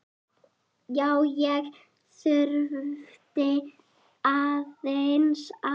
Já, ég þurfti aðeins að.